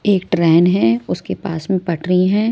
एक ट्रेन है उसके पास में पटरी हैं।